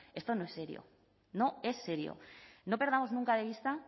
esto no es serio no es serio no perdamos nunca de vista